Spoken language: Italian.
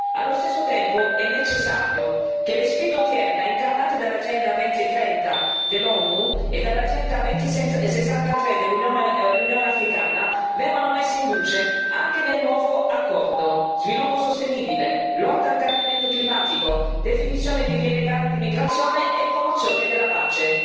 Allo stesso tempo, è necessario che le sfide odierne incarnate dall'Agenda 2030 dell'ONU e dall'Agenda 2063 dell'Unione africana vengano messe in luce anche nel nuovo accordo sviluppo sostenibile, lotta al cambiamento climatico, definizione di vie legali di immigrazione e promozione della pace.